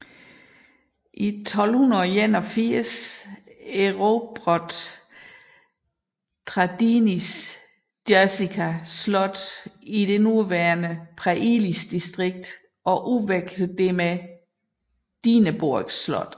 I 1281 erobrede Traidenis Jersika slot i det nuværende Preiļis distrikt og udvekslede det for Dinaburg slot